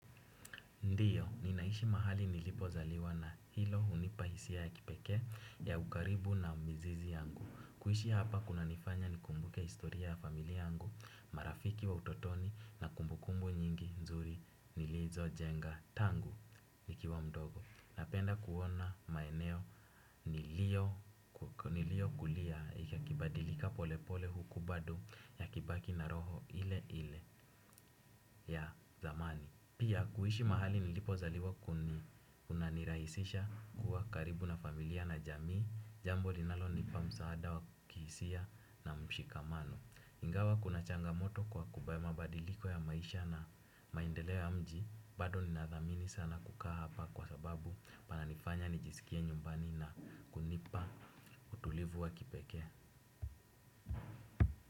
Ndio, ninaishi mahali nilipozaliwa na hilo hunipa hisia ya kipekee ya ukaribu na mizizi yangu. Kuishi hapa kunanifanya nikumbuke historia ya familia yangu, marafiki wa utotoni na kumbukumbu nyingi nzuri nilizojenga tangu nikiwa mdogo. Napenda kuona maeneo niliyokulia ikibadilika polepole huku bado yakibaki na roho ile ile ya zamani. Pia kuishi mahali nilipozaliwa kuni kunanirahisisha kuwa karibu na familia na jamii. Jambo linalonipa msaada wa kihisia na mshikamano. Ingawa kuna changamoto kwa kuba mabadiliko ya maisha na maendeleo ya mji bado ninadhamini sana kukaa hapa kwa sababu pananifanya nijisikie nyumbani na kunipa utulivu wa kipekee.